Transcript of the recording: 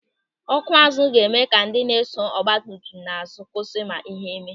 Ọ́kụ́ azụ ga-eme ka ndị na-eso ọgbatumtum n'azụ kwụsị ma ihe mee.